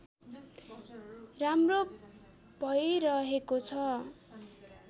राम्रो भैरहेको छ